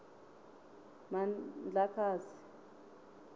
mandlakazi